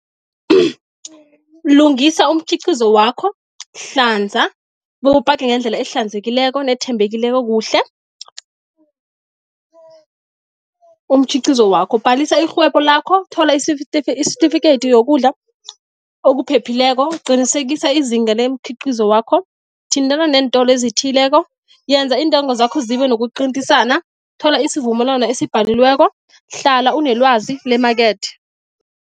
Lungisa umqhiqizo wakho, hlanza bewupake ngendlela ehlanzekileko nethembekileko kuhle umkhiqizo wakho. Bhalisa irhwebo lakho thola isitifikethi yokudla okuphephileko, qinisekisa izinga lemikhiqizo wakho. Thintana neentolo ezithileko, yenza iintengo zakho zibe nokuqintisana, thola isivumelwano esibhaliweko hlala unelwazi lemakethe.